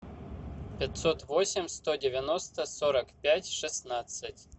пятьсот восемь сто девяносто сорок пять шестнадцать